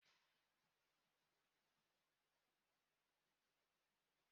Kedu ebe a na-apaki moto n'ụgbọelu?